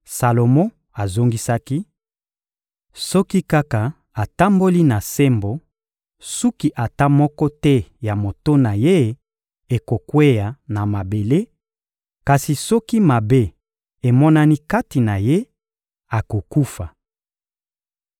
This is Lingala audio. Salomo azongisaki: — Soki kaka atamboli na sembo, suki ata moko te ya moto na ye ekokweya na mabele; kasi soki mabe emonani kati na ye, akokufa.